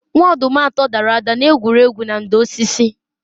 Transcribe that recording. Nwa-ọdum atọ dara ada n'egwuru egwu na ndò osisi